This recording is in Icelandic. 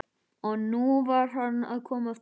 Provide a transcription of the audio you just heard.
Og nú var hann að koma aftur!